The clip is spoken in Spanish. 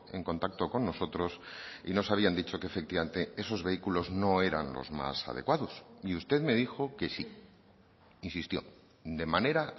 en contacto con nosotros y nos habían dicho que efectivamente esos vehículos no eran los más adecuados y usted me dijo que sí insistió de manera